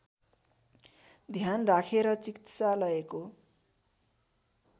ध्यान राखेर चिकित्सालयको